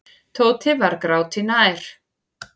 Tóti var gráti nær.